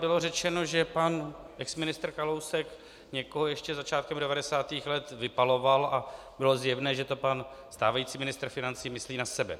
Bylo řečeno, že pan exministr Kalousek někoho ještě začátkem 90. let vypaloval, a bylo zjevné, že to pan stávající ministr financí myslí na sebe.